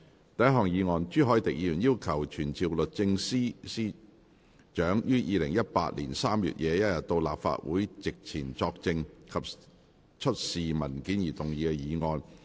第一項議案：朱凱廸議員要求傳召律政司司長於2018年3月21日到立法會席前作證及出示文件而動議的議案。